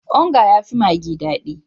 Onga ya fi maggi dadi